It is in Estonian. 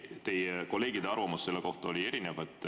Teie kolleegide arvamus selle kohta oli erinev.